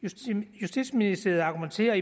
justitsministeriet argumenterer